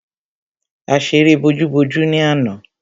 A ṣeré bojú-bojú ni àná.